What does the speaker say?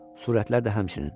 Surətlər də həmçinin.